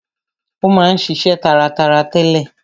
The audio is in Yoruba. Ó ma ń ṣiṣe taratara tẹ́lẹ̀.